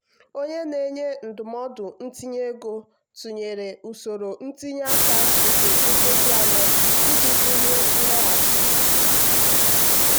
onye na-enye ndụmọdụ ntinye ego tụnyere usoro ntinye aka nke nkeji anọ iji bulie nloghachi.